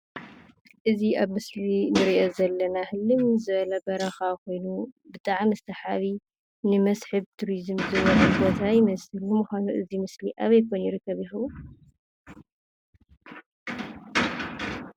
እዚ ኣብ ምስሊ ንሪኦ ዘለና ህልም ዝበለ በረካ ኮይኑ ብጣዕሚ ሰሓቢ ንመስሕብ ቱሪዝም ዝውዕል ቦታ ይመስል:: ንምኳኑ እዚ ምስሊ ኣበይ ዝርከብ ይከዉን ?